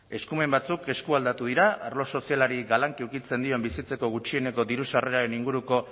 eskumen batzuk eskualdatu dira arlo sozialari ukitzen dioten bizitzeko gutxieneko diru sarreraren inguruko